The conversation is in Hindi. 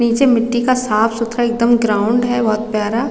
पीछे मिट्टी का साफ़ सुथरा एकदम ग्राउंड है बहोत यारा--